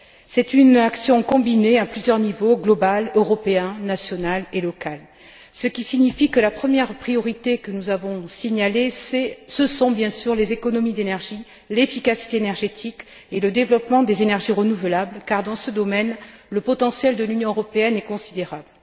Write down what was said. C'est une action combinée à plusieurs niveaux global, européen, national et local, ce qui signifie que la première priorité que nous avons signalée ce sont bien sûr les économies d'énergie, l'efficacité énergétique et le développement des énergies renouvelables car, dans ce domaine, le potentiel de l'Union européenne est considérable.